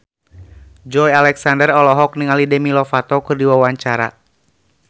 Joey Alexander olohok ningali Demi Lovato keur diwawancara